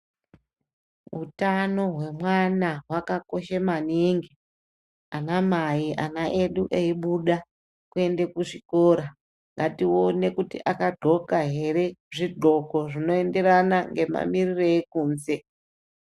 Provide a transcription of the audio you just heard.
Hutano hwe mwana hwaka koshe maningi ana mai ana edu eyi buda kuende ku zvikora ngati one kuti aka ndxoka here zvi ndxoko zvino enderana ngema mirire ekunze.